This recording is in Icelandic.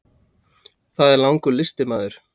Það er langur listi maður.